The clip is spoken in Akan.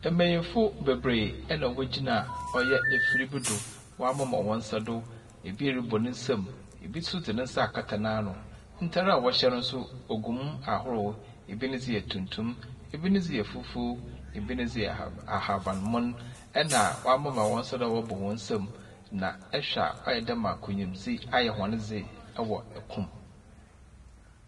Mbenyimfo bebree na wogyina ɛyɛ afiri bi do. Wɔamema wɔn nsa do. Ebi rebɔ ne nsam. Ebi nso de ne nsa akata n'ano. Ntar a wɔhyɛ no nso gu mu ahorow. Ebi ne dze yɛ tuntum. Ebi ne dze yɛ fufuw. Ebi ne dze yɛ ahabanmon na wɔamema wɔn nsa do a wɔrebɔ hɔn nsam. Ihwɛ a ayɛ dɛ ma nkunyimdze ayɛ wɔn dze ɛwɔ kom.